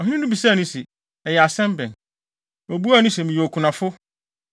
Ɔhene no bisaa no se, “Ɛyɛ asɛm bɛn?” Obuaa no se, “Meyɛ okunafo.